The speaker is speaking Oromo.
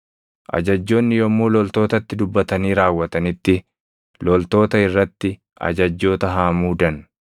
Ajajjoonni yommuu loltootatti dubbatanii raawwatanitti loltoota irratti ajajjoota haa muudan.